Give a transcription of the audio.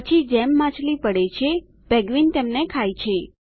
પછી જેમ માછલી પડે છે પેન્ગ્વીન તેમને ખાય છે